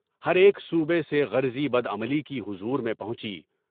ہر ایک صوبے سے غرضی بد عملی کی حضور میں پہنچی۔